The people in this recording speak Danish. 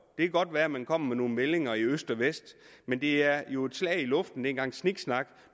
kan godt være at man kommer med nogle meldinger i øst og vest men det er jo et slag i luften en gang sniksnak